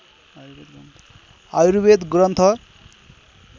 Ayurveda Granth